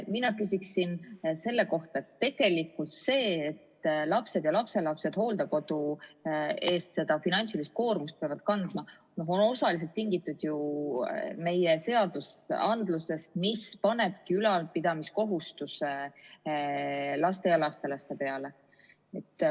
Mina küsin selle kohta: tegelikult see, et lapsed ja lapselapsed hooldekodu eest seda finantsilist koormust peavad kandma, on osaliselt tingitud ju meie seadustest, mis panevadki ülalpidamiskohustuse laste ja lastelaste peale.